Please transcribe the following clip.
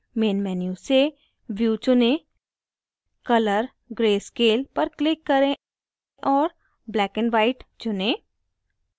main menu से view चुनें color/grayscale पर click करें और black and white चुनें